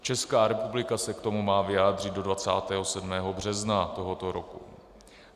Česká republika se k tomu má vyjádřit do 27. března tohoto roku.